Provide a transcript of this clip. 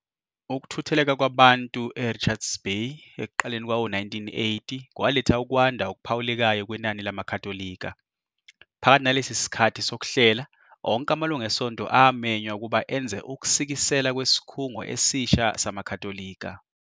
Ukuthutheleka kwabantu eRichards Bay ekuqaleni kwawo-1980 kwaletha ukwanda okuphawulekayo kwenani lamaKhatholika. Phakathi nalesi sikhathi sokuhlela, onke amalungu esonto amenywa ukuba enze ukusikisela kwesikhungo esisha samaKhatholika.